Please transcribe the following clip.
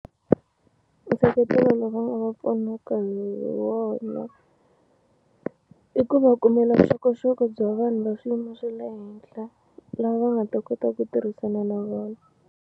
Nseketelo lowu va nga va pfunaka hi wona i ku va kumela vuxokoxoko bya vanhu va swiyimo swa le henhla lava va nga ta kota ku tirhisana na vona.